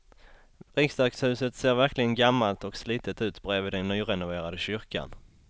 Riksdagshuset ser verkligen gammalt och slitet ut bredvid den nyrenoverade kyrkan.